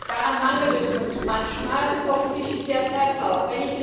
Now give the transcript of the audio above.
Daran mangelt es uns manchmal und offensichtlich derzeit auch.